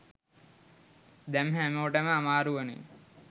දැම් හැමෝටම අමාරුවනේ